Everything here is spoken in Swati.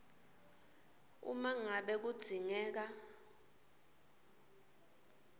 uma ngabe kudzingeka